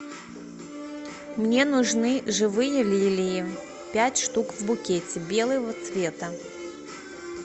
мне нужны живые лилии пять штук в букете белого цвета